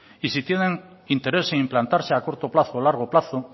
y si tiene interés en implantarse a corto plazo o a largo plazo